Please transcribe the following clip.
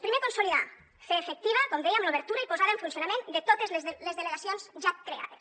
primer consolidar fer efectiva com dèiem l’obertura i posada en funcionament de totes les delegacions ja creades